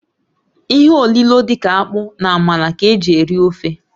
Ihe olilo dị ka akpu na amala ka eji eri ofe.